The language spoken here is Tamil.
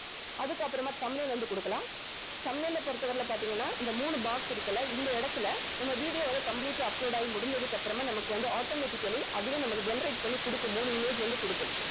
அதுக்கப்புறமா thumbnail வந்து குடுக்கலாம் thumbnail அ பொறுத்தவரைல பார்த்தீங்கன்னா இந்த மூணு box இருக்கு இல்ல இந்த இடத்துல நம்ம video வந்து complete ஆ upload ஆகி முடிஞ்சதுக்கு அப்புறமா நமக்கு வந்து automatically அதுவே நமக்கு generate பண்ணி குடுக்கும் மூணு image வந்து குடுக்கும்